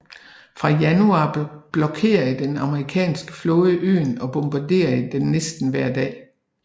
Fra januar blokerede den amerikanske flåde øen og bombarderede den næsten hver dag